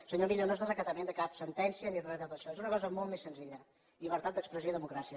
senyor millo no és desacatament de cap sentència ni res de tot això és una cosa molt més senzilla llibertat d’expressió i democràcia